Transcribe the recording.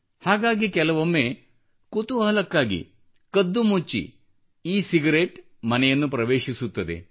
ಹಾಗಾಗಿ ಕೆಲವೊಮ್ಮೆ ಕುತೂಹಲಕ್ಕಾಗಿ ಕದ್ದುಮುಚ್ಚಿ ಇ ಸಿಗರೇಟ್ ಮನೆಯನ್ನು ಪ್ರವೇಶಿಸುತ್ತದೆ